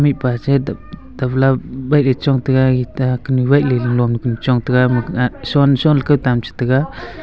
mihpa setoh topla wai le chong taiga eta kenuh wai le tega.